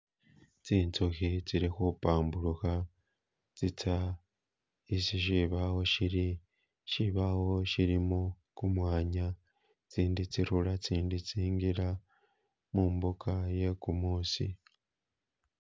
Tsinzukhi tsili khupamburukha khe tsitsa isi shibaawo shili, shibaawo shilimo kumwanya, itsindi tsirura itsindi tsingila mumbuka iye kumuusi